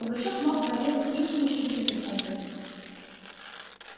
пугачёв мог проведать истину и другим образом